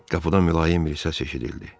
Qapıda mülayim bir səs eşidildi.